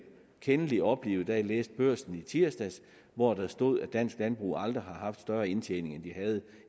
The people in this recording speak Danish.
kendelig oplivet da jeg læste børsen i tirsdags hvor der stod at dansk landbrug aldrig har haft større indtjening end